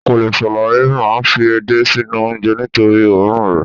o kòle salai mai fi edé sinu onje nitori oorun rẹ